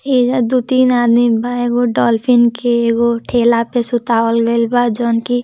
ऐजा दु तीन आदमी बा। एगो डोल्फिन के एगो ठेला पे सुतावल गईल बाजॉन की---